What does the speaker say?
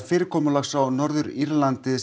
fyrirkomulagsins á Norður Írlandi